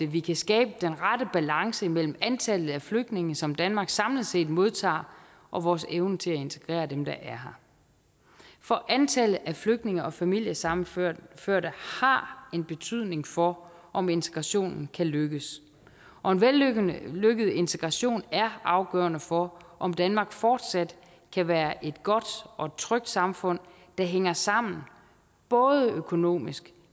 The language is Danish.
vi kan skabe den rette balance mellem antallet af flygtninge som danmark samlet set modtager og vores evne til at integrere dem der er her for antallet af flygtninge og familiesammenførte har en betydning for om integrationen kan lykkes og en vellykket vellykket integration er afgørende for om danmark fortsat kan være et godt og trygt samfund der hænger sammen både økonomisk